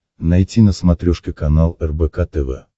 найти на смотрешке канал рбк тв